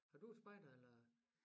Har du været spejder eller